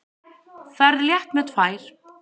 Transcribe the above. Ferð létt með tvær.